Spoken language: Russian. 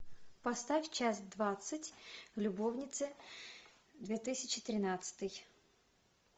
поставь час двадцать любовницы две тысячи тринадцатый